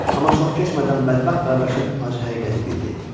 Amma çox keçmədən bədbəxt qardaşım acı həqiqəti bildi.